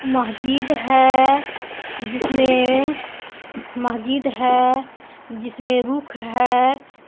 महजीद है जिसमें महजीद है जिसमे रुख है.